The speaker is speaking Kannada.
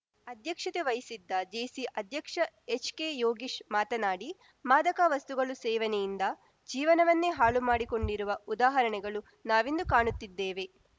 ಅಧ್ಯಕ್ಷತೆ ವಹಿಸಿದ್ದ ಜೇಸಿ ಅಧ್ಯಕ್ಷ ಎಚ್‌ಕೆ ಯೋಗೇಶ್‌ ಮಾತನಾಡಿ ಮಾದಕ ವಸ್ತುಗಳು ಸೇವನೆಯಿಂದ ಜೀವನವನ್ನೇ ಹಾಳು ಮಾಡಿಕೊಂಡಿರುವ ಉದಾಹರಣೆಗಳು ನಾವಿಂದು ಕಾಣುತ್ತಿದ್ದೇವೆ